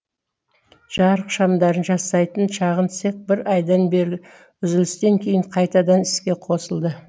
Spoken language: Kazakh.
жарық шамдарын жасайтын шағын цех бір айдан бері үзілістен кейін қайтадан іске қосылды